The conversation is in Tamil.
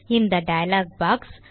இந்த டயலாக் பாக்ஸ்